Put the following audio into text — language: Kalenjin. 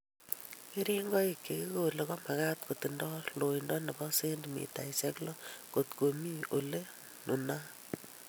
Keringonik che kikole komakat kotindoi loindo nebo sentimitaishek lo ngot ko mi ole nunat